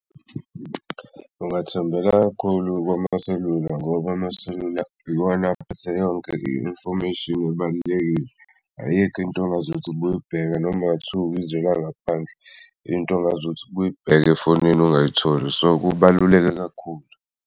Ungathembela kakhulu kumaselula ngoba amaselula iwona aphethe yonke i-information ebalulekile. Ayikho into ongaze ukuthi buyibheka noma kungathiwa ukuyizwe langaphandle into ongaz'thi buyibheka efonini ungayitholi, so kubaluleke kakhulu.